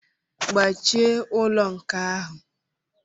Gbachie ụlọ nkà ahụ!